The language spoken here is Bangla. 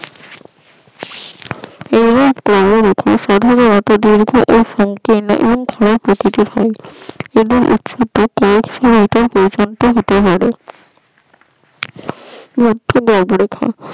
এদের ইছে থাকে